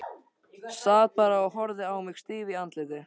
Sat bara og horfði á mig stíf í andliti.